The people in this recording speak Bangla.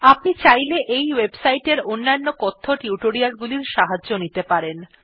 আপনি চাইলে এই ওয়েবসাইট এর অন্যান্য টিউটোরিয়াল গুলির সাহায্য নিতে পারেন